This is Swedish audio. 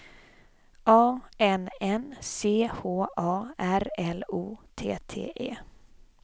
A N N C H A R L O T T E